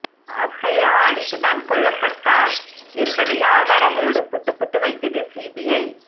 அபயா அடித்துதான் கொல்லப்பட்டார் என்பதை ஆதாரங்களோடு புட்டு புட்டு வைத்தது சிபிஐ